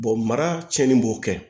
mara cɛnni b'o kɛ